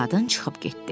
Qadın çıxıb getdi.